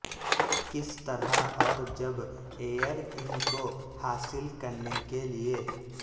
کس طرح اور جب ایئر ان کو حاصل کرنے کے لئے